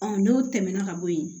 n'o tɛmɛna ka bɔ yen